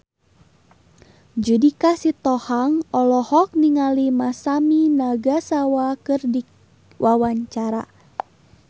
Judika Sitohang olohok ningali Masami Nagasawa keur diwawancara